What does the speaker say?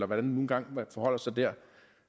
man nu engang forholder sig der